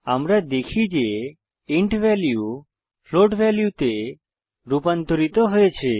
আমরা দেখি যে ইন্ট ভ্যালু ফ্লোট ভ্যালুতে রুপান্তরিত হয়েছে